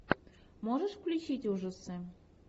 можешь включить ужасы